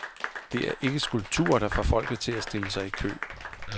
Det er ikke skulpturer, der får folket til at stille sig i kø.